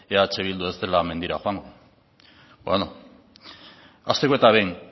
eh bildu ez dela mendira joango beno hasteko eta behin